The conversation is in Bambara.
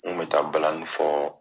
N kun bɛ taa balani fɔ